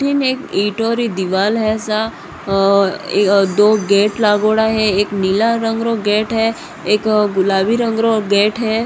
ईम एक ईट एक दिवाल है सा आ दो गेट लागोड़ा है एक नीला रंग रो गेट है एक गुलाबी रंग रो गेट है।